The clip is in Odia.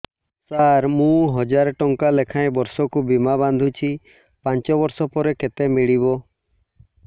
ସାର ମୁଁ ହଜାରେ ଟଂକା ଲେଖାଏଁ ବର୍ଷକୁ ବୀମା ବାଂଧୁଛି ପାଞ୍ଚ ବର୍ଷ ପରେ କେତେ ମିଳିବ